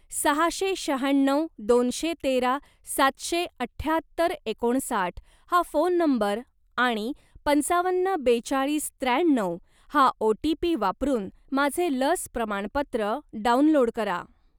सहाशे शहाण्णव दोनशे तेरा सातशे अठ्याहत्तर एकोणसाठ हा फोन नंबर आणि पंचावन्न बेचाळीस त्र्याण्णव हा ओ.टी.पी. वापरून माझे लस प्रमाणपत्र डाउनलोड करा.